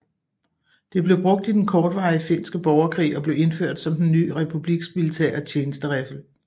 Det blev brugt i den kortvarige Finske borgerkrig og blev indført som den nye republiks militære tjenesteriffel